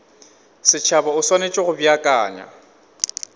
setšhaba o swanetše go beakanya